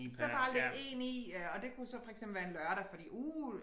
Så bare lægge 1 i ja og det kunne så for eksempel være en lørdag fordi uh